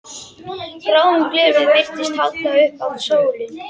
Gráum gleraugum virtist haldið upp að sólinni.